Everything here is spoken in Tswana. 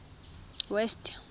west